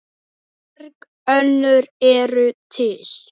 Mörg önnur eru til.